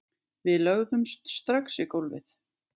Við lögðumst strax í gólfið